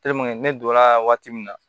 ne donna waati min na